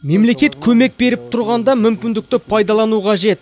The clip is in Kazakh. мемлекет көмек беріп тұрғанда мүмкіндікті пайдалану қажет